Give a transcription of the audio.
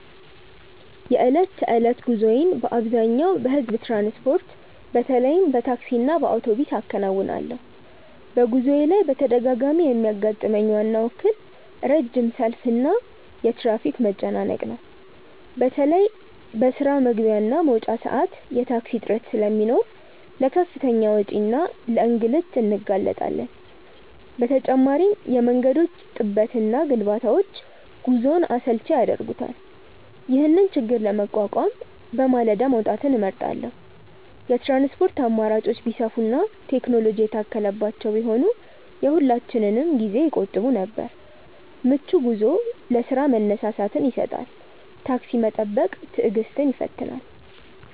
የዕለት ተዕለት ጉዞዬን በአብዛኛው በሕዝብ ትራንስፖርት፣ በተለይም በታክሲና በአውቶቡስ አከናውናለሁ። በጉዞዬ ላይ በተደጋጋሚ የሚያጋጥመኝ ዋናው እክል ረጅም ሰልፍና የትራፊክ መጨናነቅ ነው። በተለይ በስራ መግቢያና መውጫ ሰዓት የታክሲ እጥረት ስለሚኖር ለከፍተኛ ወጪና ለእንግልት እንጋለጣለን። በተጨማሪም የመንገዶች ጥበትና ግንባታዎች ጉዞውን አሰልቺ ያደርጉታል። ይህንን ችግር ለመቋቋም በማለዳ መውጣትን እመርጣለሁ። የትራንስፖርት አማራጮች ቢሰፉና ቴክኖሎጂ የታከለባቸው ቢሆኑ የሁላችንንም ጊዜ ይቆጥቡ ነበር። ምቹ ጉዞ ለስራ መነሳሳትን ይሰጣል። ታክሲ መጠበቅ ትዕግስትን ይፈትናል።